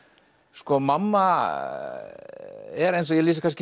sko mamma er eins og ég lýsi kannski